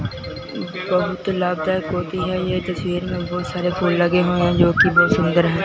बहुत लाभदायक होती है ये तस्वीर में बहुत सारे फूल लगे हुए हैं जो की सुंदर है।